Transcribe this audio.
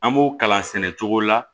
An b'o kalan sɛnɛ cogo la